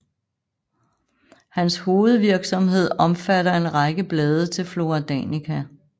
Hans hovedvirksomhed omfatter en række blade til Flora Danica